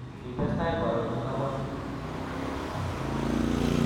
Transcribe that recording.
Kitestai koarorchi kabwatutik